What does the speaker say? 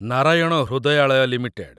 Narayan Hrudayalaya limited